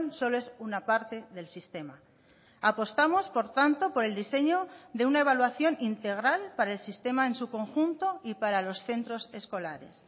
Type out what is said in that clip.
solo es una parte del sistema apostamos por tanto por el diseño de una evaluación integral para el sistema en su conjunto y para los centros escolares